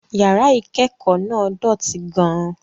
Yàrá ìkẹ́kọ̀ọ́ náà dọ̀tí gan-an